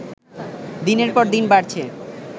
দিনের পর দিন বাড়ছে